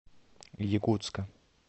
якутска